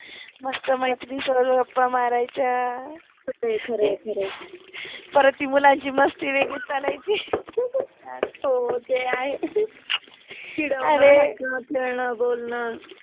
मस्त मैत्रिणिसोबत गप्पा मारायच्या, ते खर आहे, खर आहे, परत ति मुलांचि मस्ति वेगळिच चालायचि हो ते आहे, अरे चिडवन, हसन, खेळन, बोलण